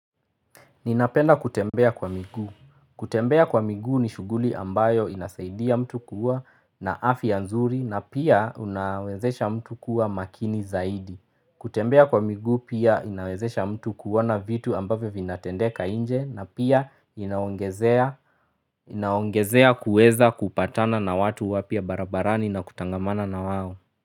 Ninapenda kutembea kwa miguu. Kutembea kwa miguu ni shughuli ambayo inasaidia mtu kuwa na afya ya nzuri na pia unawezesha mtu kuwa makini zaidi. Kutembea kwa miguu pia inawezesha mtu kuwana vitu ambayo vinatendeka nje na pia inaongezea inaongezea kuweza kupatana na watu wapya barabarani na kutangamana na wao.